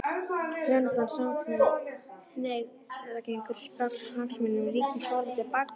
Hjónaband samkynhneigðra gengur gegn hagsmunum ríkisins varðandi barneignir.